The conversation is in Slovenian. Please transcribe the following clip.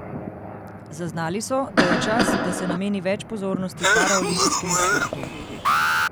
Zaznali so, da je čas, da se nameni več pozornosti paraolimpijskemu športu.